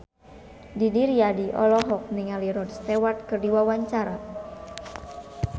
Didi Riyadi olohok ningali Rod Stewart keur diwawancara